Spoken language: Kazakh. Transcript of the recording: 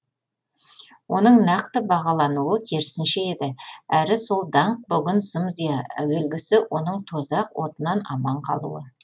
оның нақты бағалануы керісінше еді әрі сол даңқ бүгін зым зия әуелгісі оның тозақ отынан аман қалуы